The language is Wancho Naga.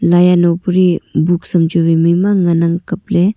lai ano Pali books am chu wai maima ngan ang kaplry.